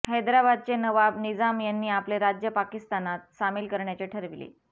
हैदराबादचे नबाब निझाम यांनी आपले राज्य पाकिस्तानात सामील करण्याचे ठरविले